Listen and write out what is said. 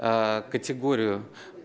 категорию